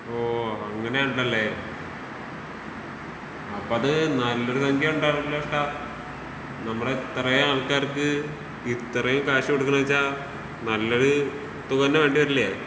ഓഹ് അങ്ങനെ ഉണ്ടല്ലേ.അപ്പത് നല്ലൊരു സംഖ്യ ഉണ്ടാവല്ലോഷ്ട്ടാ.നമ്മളെത്രേ ആൾക്കാർക്ക് ഇത്രേം ക്യാഷ് കൊടുക്കുന്നേ വെച്ചാ നല്ലൊരു തുക തന്നേ വേണ്ടി വരില്ലേ?